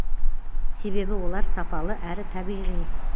себебі олар сапалы әрі табиғи